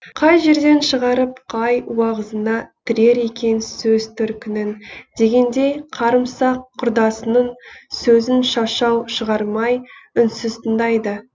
қай жерден шығарып қай уағызына тірер екен сөз төркінін дегендей қарымсақ құрдасының сөзін шашау шығармай үнсіз тыңдайды